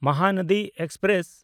Mahanadi express